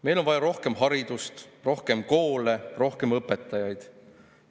"Meil on vaja rohkem haridust, rohkem koole, rohkem õpetajaid.